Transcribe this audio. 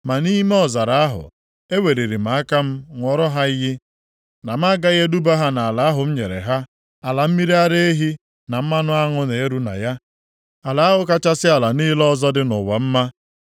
Ma nʼime ọzara ahụ, eweliri m aka ṅụọrọ ha iyi na m agaghị eduba ha nʼala ahụ m nyere ha, ala mmiri ara ehi na mmanụ aṅụ na-eru na ya, ala ahụ kachasị ala niile ọzọ dị nʼụwa mma.